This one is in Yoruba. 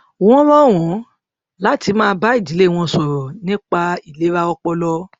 wọn rọ wọn láti máa bá ìdílé wọn sọrọ nípa ìlera ọpọlọ